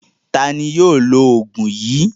Ta ni yóò lo òògùn yìí?